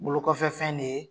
Bolokɔfɛfɛn de ye.